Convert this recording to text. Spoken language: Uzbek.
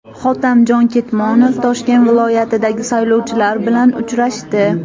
Hotamjon Ketmonov Toshkent viloyatidagi saylovchilar bilan uchrashdi.